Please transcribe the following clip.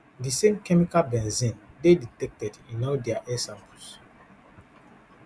di same chemical benzene dey detected in all dia air samples